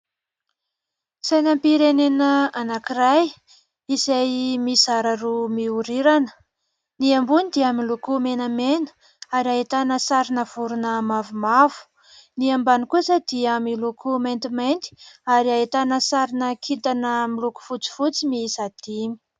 Sainam-pirenena anankiray izay mizara roa mihorirana, ny ambony dia miloko menamena ary ahitana sarina vorona mavomavo, ny ambany kosa dia miloko maintimainty ary ahitana sarina kintana miloko fotsifotsy mihisa dimy.